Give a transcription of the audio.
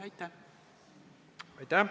Aitäh!